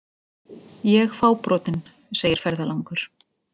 Ég fábrotinn, segir ferðalangur.